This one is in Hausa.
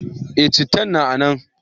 Eh, cittan na a nan.